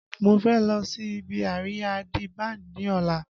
Mo fẹ́ lọ sí ibi àríyá D Banj ní ọ̀la